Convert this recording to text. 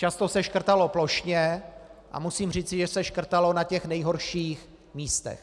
Často se škrtalo plošně a musím říci, že se škrtalo na těch nejhorších místech.